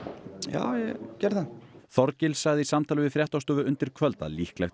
já ég gerði það Þorgils sagði í samtali við fréttastofu undir kvöld að líklegt